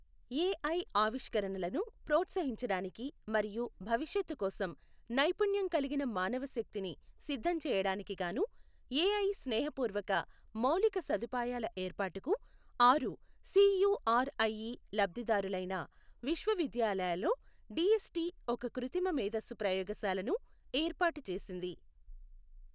AI ఆవిష్కరణలను ప్రోత్సహించడానికి మరియు భవిష్యత్తు కోసం నైపుణ్యం కలిగిన మానవ శక్తిని సిద్ధం చేయడానికి గాను ఏఐ స్నేహపూర్వక మౌలిక సదుపాయాల ఏర్పాటుకు ఆరు సీయుఆర్ఐఈ లబ్ధిదారులైన విశ్వవిద్యాలయాలలో డీఎస్టీ ఒక కృత్రిమ మేధస్సు ప్రయోగశాలను ఏర్పాటు చేసింది.